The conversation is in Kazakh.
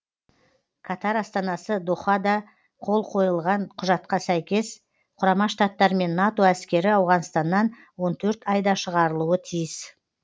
катар астанасы дохада қол қойылған құжатқа сәйкес құрама штаттар мен нато әскері ауғанстаннан он төрт айда шығарылуы тиіс